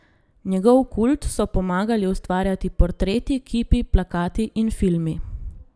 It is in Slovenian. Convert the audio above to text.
Njegov kult so pomagali ustvarjati portreti, kipi, plakati in filmi.